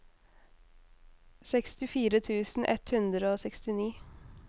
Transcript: sekstifire tusen ett hundre og sekstini